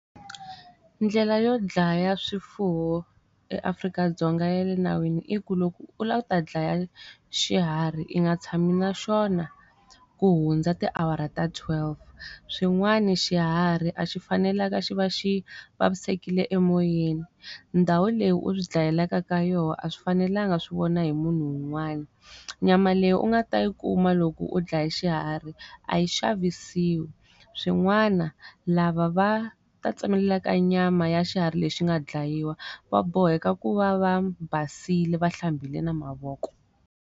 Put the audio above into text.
Ndlela yo dlaya swifuwo eAfrika-Dzonga ya le nawini i ku loko u lava ku ta dlaya xiharhi i nga tshami na xona ku hundza tiawara ta twelve. Swin'wana xiharhi a xi fanelangi xi va xi vavisekile emoyeni. Ndhawu leyi u swi dlayelaka ka yona a swi fanelanga swi vona hi munhu un'wana. Nyama leyi u nga ta yi kuma loko u dlaye xiharhi, a yi xavisiwi. Swin'wana lava va ta tsemelela nyama ya xiharhi lexi nga dlayiwa, va boheka ku va va basile va hlambile na mavoko.